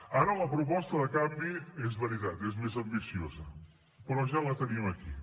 ara la proposta de canvi és veritat és més ambiciosa però ja la tenim aquí